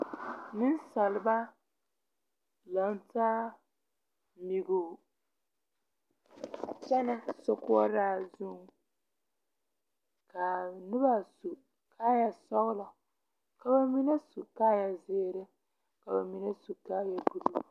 Nensaaleba laŋ taa nɛgoo kyɛnɛ sokoɔraa zu ka a noba su kaaya sɔglɔ ka ba mine su kaaya zeere ka ba mine su kaaya buluu.